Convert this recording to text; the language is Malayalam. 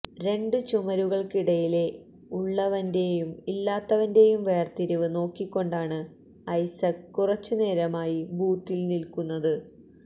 രണ്ടു ചുമരുകൾക്കിടയിലെ ഉളളവന്റെയും ഇല്ലാത്തവന്റേയും വേർതിരിവ് നോക്കികൊണ്ടാണ് ഐസക് കുറച്ചു നേരമായി ബൂത്തിൽ നിൽക്കുന്നത്